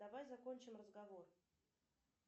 давай закончим разговор